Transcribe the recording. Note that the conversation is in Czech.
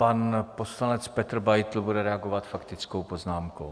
Pan poslanec Petr Beitl bude reagovat faktickou poznámkou.